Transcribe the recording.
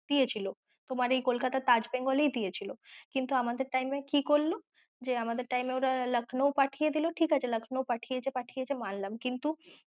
দিয়েছিল, তোমার এই কলকাতার তাজ বেঙ্গল এই দিয়েছিল, কিন্তু আমাদের time এ কি করল যে আমাদের time এ ওরা লখনঊ পাঠিয়ে দিলো, ঠিকাছে, লখনঊ পাঠিয়েছে পাঠিয়েছে মানলাম কিন্তু